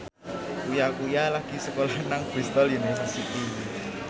Uya Kuya lagi sekolah nang Bristol university